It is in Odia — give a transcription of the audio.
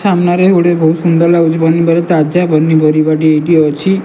ସାମ୍ନାରେ ବହୁତ ସୁନ୍ଦର ଲାଗୁଚି ପନିପରିବା ତାଜା ପନିପରିବା ଟି ଏଇଠି ଅଛି।